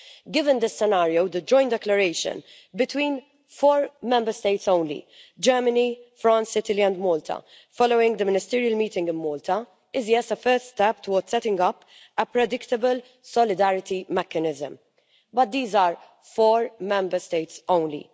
Given this scenario, the joint declaration between four Member States only Germany, France, Italy and Malta, following the ministerial meeting in Malta is a first step towards setting up a predictable solidarity mechanism. But these are four Member States only.